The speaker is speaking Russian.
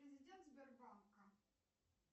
президент сбербанка